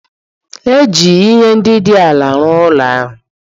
E ji ihe ndị dị ala rụọ ụlọ ahụ.